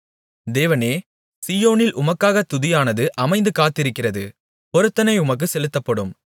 தேவனே சீயோனில் உமக்காகத் துதியானது அமைந்து காத்திருக்கிறது பொருத்தனை உமக்குச் செலுத்தப்படும்